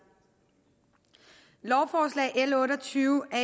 lovforslag l otte og tyve er